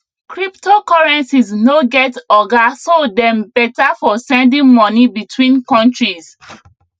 cryptocurrencies no get oga so dem better for sending moni between countries